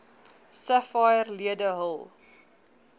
sapphire lede hul